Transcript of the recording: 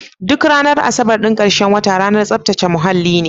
Duk ranar asabar ɗin karshen wata ranar tsaftace muhalli ne.